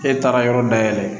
E taara yɔrɔ dayɛlɛ